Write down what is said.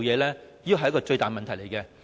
這是最大的問題。